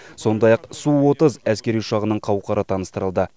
сондай ақ су отыз әскери ұшағының қауқары таныстырылды